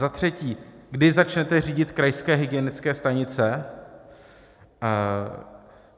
Za třetí: Kdy začnete řídit krajské hygienické stanice?